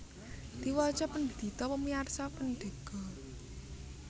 Diwaca pendito pemiarso pendego